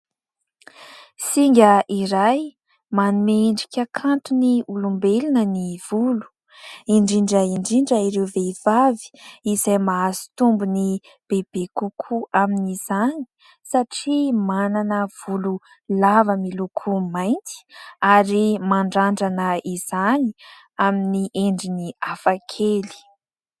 Singa iray manome endrika kanto ny olombelona ny volo indrindra indrindra ireo vehivavy izay mahazo tombony bebe kokoa amin'izany satria manana volo lava miloko mainty ary mandrandrana izany amin'ny endriny hafakely.